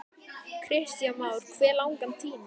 Kristján Már: Hve langan tíma?